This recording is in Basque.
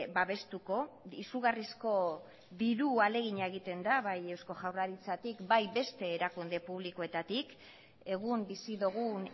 babestuko izugarrizko diru ahalegina egiten da bai eusko jaurlaritzatik bai beste erakunde publikoetatik egun bizi dugun